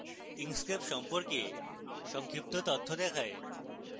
inkscape সম্পর্কে সংক্ষিপ্ত তথ্য দেখায়